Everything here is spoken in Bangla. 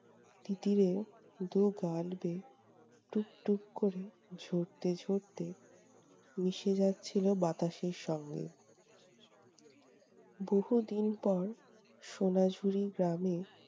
তিতিরের দু গাল বেয়ে টুপ্টুপ্ করে ঝরতে ঝরতে মিশে যাচ্ছিলো বাতাসের সঙ্গে। বহু দিন পর সোনা ঝুড়ি গ্রামে